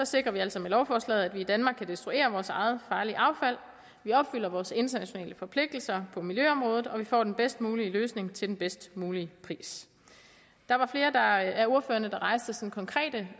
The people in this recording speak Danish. sikrer vi altså med lovforslaget at vi i danmark kan destruere vores eget farlige affald vi opfylder vores internationale forpligtelser på miljøområdet og vi får den bedst mulige løsning til den bedst mulige pris der var flere af ordførerne der rejste konkrete